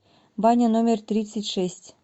баня номер тридцать шесть